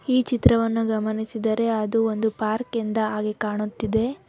ಈ ಚಿತ್ರವನ್ನು ಗಮನಿಸಿದರೆ ಅದು ಒಂದು ಪಾರ್ಕಿಂದ ಆಗಿ ಕಾಣುತ್ತಿದೆ.